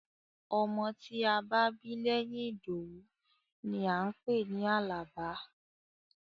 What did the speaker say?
Ọmọ tí a bá bí lẹ́yìn Ìdòwú ni à ń pè ní Àlàbá.